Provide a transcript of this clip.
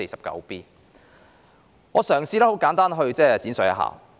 讓我嘗試簡單闡述。